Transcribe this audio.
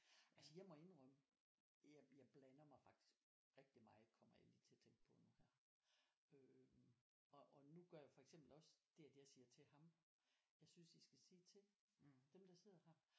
Altså jeg må indrømme jeg jeg blander mig faktisk rigtig meget kommer jeg lige til at tænke på nu her øh og og nu gør jeg for eksempel også det at jeg siger til ham jeg synes I skal sige til dem der sidder her